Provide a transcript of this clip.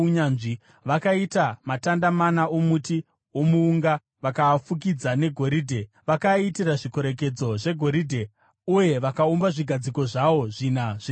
Vakaita matanda mana omuti womuunga vakaafukidza negoridhe. Vakaaitira zvikorekedzo zvegoridhe uye vakaumba zvigadziko zvawo zvina zvesirivha.